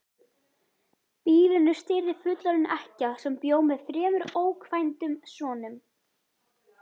Býlinu stýrði fullorðin ekkja sem bjó með þremur ókvæntum sonum.